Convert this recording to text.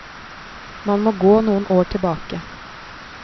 Man må gå noen år tilbake.